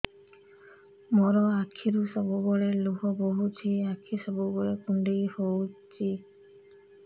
ମୋର ଆଖିରୁ ସବୁବେଳେ ଲୁହ ବୋହୁଛି ଆଖି ସବୁବେଳେ କୁଣ୍ଡେଇ ହଉଚି